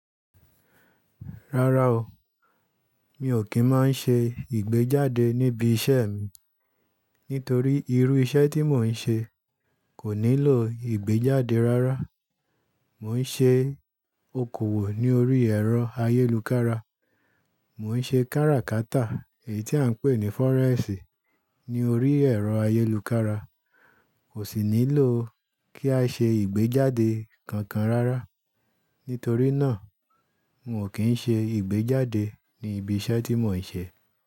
Rárá o, mi ò kí ń máa ń ṣe ìgbéjáde níbi iṣẹ́ mi. Nítorí irú iṣẹ́ tí mò ń ṣe kò nílò ìgbéjáde rárá. Mò ń ṣe okòwò ní orí ẹ̀rọ ayélujára. Mò ń ṣe káràkátà èyí tí à ń pè ní fọ́rẹ́x ní orí ẹ̀rọ ayélujára. Kò sì nílò kí a ṣe ìgbéjáde kankan rárá. Nítorí náà mi ò kí ń ṣe ìgbéjáde ní ibi iṣẹ́ tí mò ń ṣe.